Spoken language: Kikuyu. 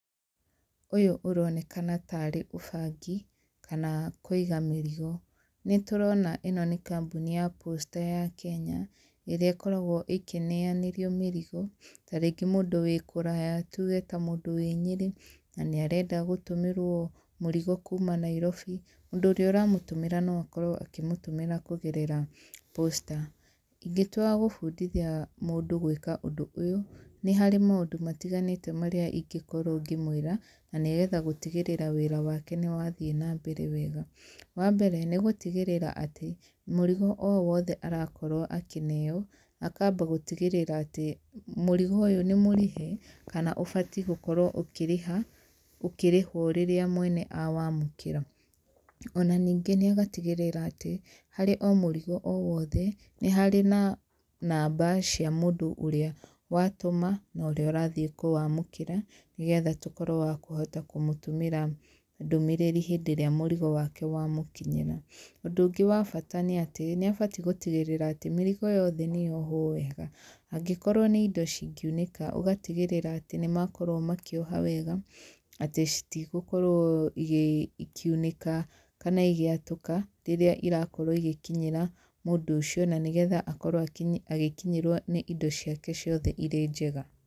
Ũyũ ũronekana tarĩ ũbangi kana kũiga mĩrigo nĩ tũrona ĩno nĩ kambuni ya posta ya Kenya ĩrĩa ĩkoragwo ĩkĩneanĩrio mĩrigo tarĩngĩ mũndũ wĩ kũraya tuge ta mũndũ wĩ nyĩrĩ na nĩ arenda gũtũmĩrwo mũrigo kuma nairobi mũndũ ũrĩa ũramũtũmĩra no akorwo akĩmũtũmira kũgerera posta ingĩtua gũbundithia mũndũ gwĩka ũndũ ũyũ, nĩ harĩ maũndũ matiganĩte marĩa ingĩkorwo ngĩmwĩra na nĩgetha gũtigĩrĩra wĩra wake nĩ wathiĩ na mbere wega. Wambere nĩ gũtigĩrĩra atĩ mũrigo o wothe arakorwo akĩneo akamba gũtigĩrira atĩ, mũrigo ũyũ nĩ mũrĩhe kana ũbatie gũkorwo ũkĩrĩhwo rĩrĩa mwena akorwo akĩwamũkĩra ona ningĩ nĩ agatigĩrĩra atĩ harĩ o mũrigo o wothe nĩ harĩ na namba cia mũndũ ũrĩa watũma na ũrĩa ũrathiĩ kũwamũkĩra nĩgetha tũkorwo wa kũhota kũmũtũmĩra ndũmĩrĩri hĩndĩ ĩrĩa mũrigo wake wamũkinyĩra. ũndũ ũngĩ wa bata nĩ atĩ nĩ abatie gũtigĩrĩra atĩ mĩrigo yothe nĩ yohwo wega, angĩkorwo nĩ indo cingĩunĩka ũgatigĩrĩra atĩ nĩ makorwo makĩoha wega atĩ citigũkorwo ikĩunĩka kana igĩatũka rĩrĩa irakorwo igĩkinyĩra mũndũ ũcio na nĩgetha akorwo agĩkinyĩrwo nĩ indo ciake ciothe irĩ njega.